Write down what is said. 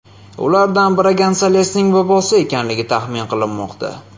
Ulardan biri Gonsalesning bobosi ekanligi taxmin qilinmoqda.